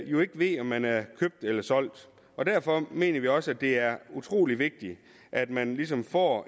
jo ikke ved om man er købt eller solgt og derfor mener vi også at det er utrolig vigtigt at man ligesom får